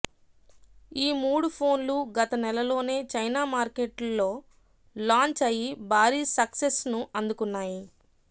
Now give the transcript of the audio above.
ఈ మూడు ఫోన్లు గత నెలలోనే చైనా మార్కెట్లో లాంచ్ అయి భారీ సక్సెస్ను అందుకున్నాయి